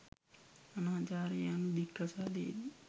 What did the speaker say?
අනාචාරය යනු දික්කසාදයේදී